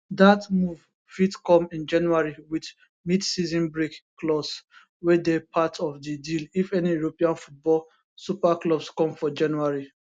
dat move fit come in january wit midseason break clause wey dey part of di deal if any european football super clubs come for january